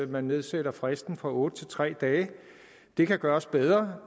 man nedsætter fristen fra otte til tre dage det kan gøres bedre